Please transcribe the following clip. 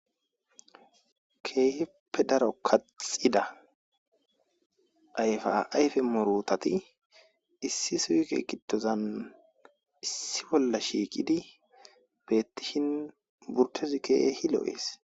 Keehippe daro kaxida ayfe ayfe murutat issi supe gidozan issippe shiqid betishn burtez keeh lo'es.